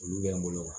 Olu bɛ n bolo wa